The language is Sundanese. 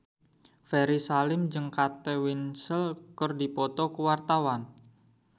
Ferry Salim jeung Kate Winslet keur dipoto ku wartawan